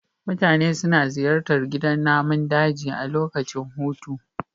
Mutane suna ziyartar gidan namun daji a lokacin hutu.